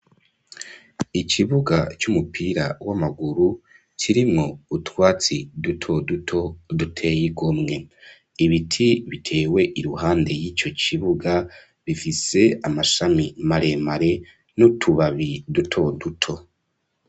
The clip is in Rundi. Ikibuga c'umupira w'amaguru kirimo utwatsi duto duto duteyigomwe ibiti bitewe iruhande y'ico kibuga bifise amashami maremare no tubabi duto duto.